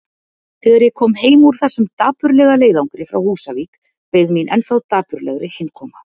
Þegar ég kom heim úr þessum dapurlega leiðangri frá Húsavík beið mín ennþá dapurlegri heimkoma.